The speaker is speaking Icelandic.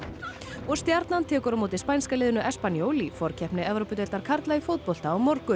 og Stjarnan tekur á móti spænska liðinu espanyol í forkeppni Evrópudeildar karla í fótbolta á morgun